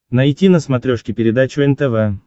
найти на смотрешке передачу нтв